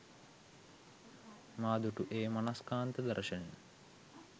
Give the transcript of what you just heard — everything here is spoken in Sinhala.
මා දුටු ඒ මනස්කාන්ත දර්ශනය